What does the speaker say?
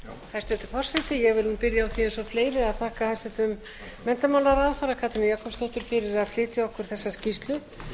byrja á því eins og fleiri að þakka hæstvirtum menntamálaráðherra katrínu jakobsdóttur fyrir að flytja okkur þessa skýrslu